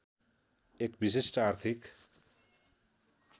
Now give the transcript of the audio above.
एक विशिष्ट आर्थिक